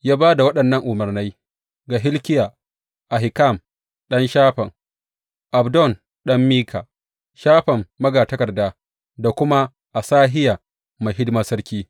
Ya ba da waɗannan umarnai ga Hilkiya, Ahikam ɗan Shafan, Abdon ɗan Mika, Shafan magatakarda da kuma Asahiya mai hidimar sarki.